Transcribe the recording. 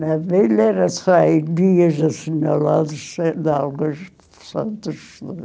Na velha era só em dias assinalados sendo alguns santos.